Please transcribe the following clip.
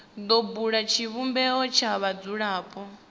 do bula tshivhumbeo tsha vhadzulapo